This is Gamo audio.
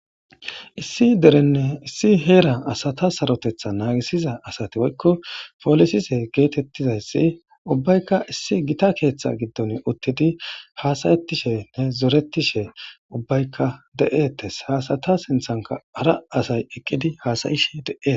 Issi derenne issi heera asata sarotetha naagisiza asati woykko polisise geetettizayssi ubbaykka issi gita keeththa giddon uttidi haasayettishe ne zoretishe ubbaykka de'ettes haasata sinthanka ara asay eqqidi haasayishe de'e.